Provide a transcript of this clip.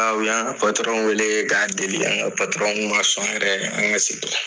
O y'an ka wele k'a deli an ka man sɔn yɛrɛ an ka segin